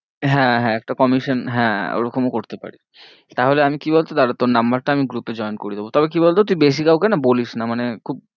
হ্যাঁ হ্যাঁ একটা commission হ্যাঁ ওরকম ও করতে পারি তাহলে আমি কি বলতো দাঁড়া তোর number টা আমি group এ join করিয়ে দেব, তবে কি বল তো তুই বেশি কাউ কে না বলিস না মানে খুব